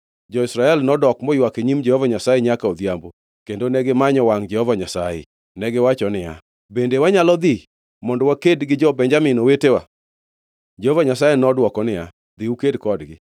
Jo-Israel nodok moywak e nyim Jehova Nyasaye nyaka odhiambo, kendo negimanyo wangʼ Jehova Nyasaye. Negiwacho niya, “Bende wanyalo dhi kendo mondo waked gi jo-Benjamin, owetewa?” Jehova Nyasaye nodwoko niya, “Dhi uked kodgi.”